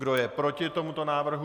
Kdo je proti tomuto návrhu?